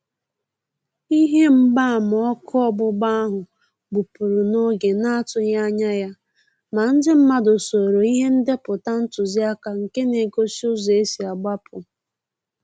Ihe mgba ama ọkụ ọgbụgba áhụ́ gbụ́pụ́rụ̀ n'oge na-àtụ́ghị́ ányà ya, mà ndị mmàdụ̀ soòrò ìhè ndépụ̀tà ntụziaka nké na-égósí ụ́zọ́ ésí àgbapụ